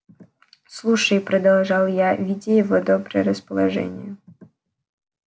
слушай продолжал я видя его доброе расположение